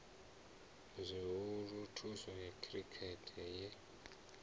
zwihulu thimu ya khirikhethe ye